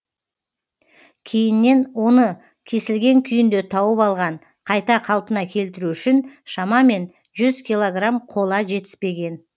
кейіннен оны кесілген күйінде тауып алған қайта қалпына келтіру үшін шамамен жүз килограмм қола жетіспеген